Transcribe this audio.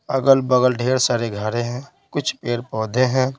अगल-बगल ढेर सारे घरें हैं कुछ पेड़-पौधे हैं ।